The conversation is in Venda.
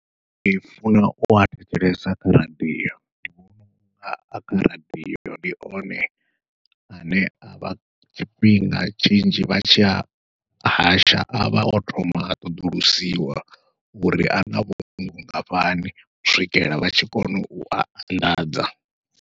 Ndi funa ua thetshelesa kha radiyo, a kha radiyo ndi one ane avha tshifhinga tshinzhi vha tshi a hasha avha o thoma a ṱoḓulusiwa uri ana vhungoho vhungafhani u swikela vha tshi kona ua anḓadza.